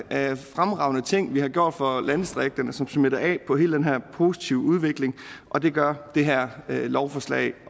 af fremragende ting vi har gjort for landdistrikterne som smitter af på hele den her positive udvikling og det gør det her lovforslag